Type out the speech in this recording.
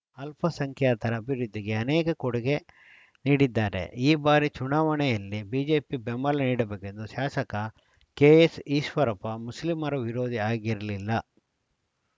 ಅಲ್ಪಸಂಖ್ಯಾತರ ಅಭಿವೃದ್ಧಿಗೆ ಅನೇಕ ಕೊಡುಗೆ ನೀಡಿದ್ದಾರೆ ಈ ಬಾರಿ ಚುನಾವಣೆಯಲ್ಲಿ ಬಿಜೆಪಿ ಬೆಂಬಲ ನೀಡಬೇಕೆಂದು ಶಾಸಕ ಕೆಎಸ್‌ ಈಶ್ವರಪ್ಪ ಮುಸ್ಲಿಮರ ವಿರೋಧಿ ಆಗಿರಲಿಲ್ಲ